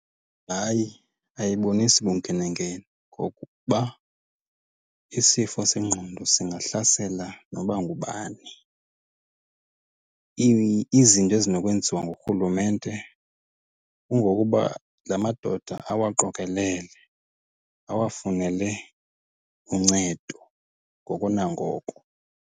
Hayi, ayibonisi bunkenenkene ngokokuba isifo sengqondo singahlasela noba ngubani. Izinto ezinokwenziwa ngurhulumente kungokuba la madoda awaqokelele awafunele uncedo ngoko nangoko.